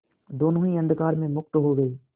दोेनों ही अंधकार में मुक्त हो गए